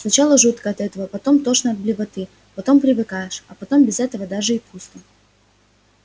сначала жутко от этого потом тошно до блевоты потом привыкаешь а потом без этого даже и пусто